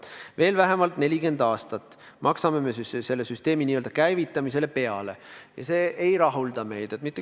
Veel vähemalt 40 aastat me maksame selle süsteemi n-ö käivitamisele peale ja see ei rahulda meid.